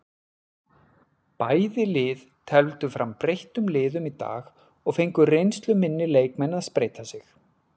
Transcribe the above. Bæði lið tefldu fram breyttum liðum í dag og fengu reynsluminni leikmenn að spreyta sig.